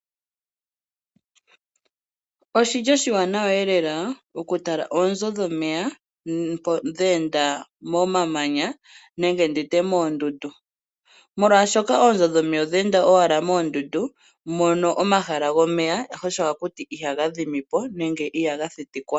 Oshili oshiwanawa eelela okutala onzo dhomeya dhenda momamanya nenge nditye moondundu, molwashoka onzo dhomeya odhenda owala moondundu mono omahala gomeya shosho akuti ihagadhimipo nenge ihaga thitikwa.